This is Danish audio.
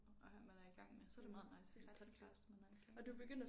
Og have man er i gang med så er det meget nice en podcast man er i gang med